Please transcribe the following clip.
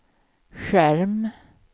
skärm